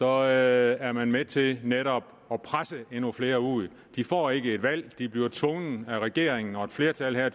er er man med til netop at presse endnu flere ud de får ikke et valg de bliver tvunget af regeringen og et flertal her